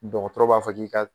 Dɔgɔtɔrɔ b'a fɔ k'i ka